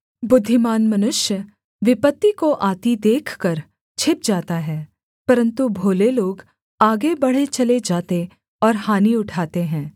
बुद्धिमान मनुष्य विपत्ति को आती देखकर छिप जाता है परन्तु भोले लोग आगे बढ़े चले जाते और हानि उठाते हैं